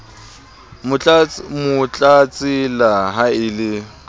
mo tlatsela ha e le